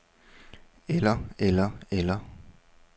eller eller eller